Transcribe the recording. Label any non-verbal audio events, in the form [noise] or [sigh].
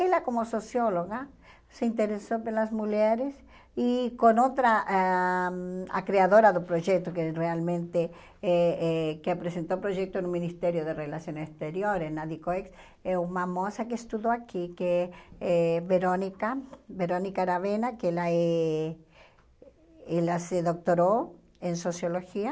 Ela, como socióloga, se interessou pelas mulheres e com outra, ah a criadora do projeto, que realmente, eh eh que apresentou o projeto no Ministério das Relações Exteriores, [unintelligible] é uma moça que estudou aqui, que é é Verônica, Verônica Aravena, que ela eh ela se doutorou em Sociologia.